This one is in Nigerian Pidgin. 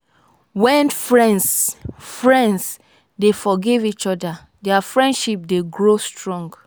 wen friends friends dey forgive each oda dia friendship dey grow strong.